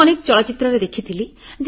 ମୁଁ ଅନେକ ଚଳଚ୍ଚିତ୍ରରେ ଦେଖିଥିଲି